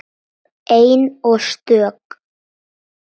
Ein og stök.